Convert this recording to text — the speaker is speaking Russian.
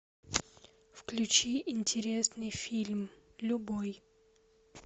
включи интересный фильм любой